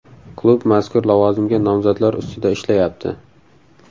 Klub mazkur lavozimga nomzodlar ustida ishlayapti.